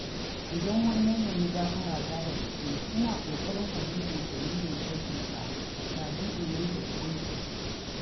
Idan wani ya nemi gafarata da gaske, ina ƙoƙarin fahimtar dalilin aikinsa kafin in yanke hukunci.